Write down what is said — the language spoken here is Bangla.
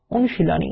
অনুশীলনী